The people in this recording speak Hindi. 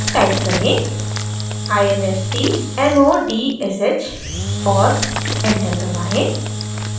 टाइप करें: instmodsh और एंटर दबाएं